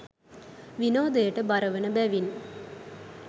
විනෝදයට බරවන බැවින්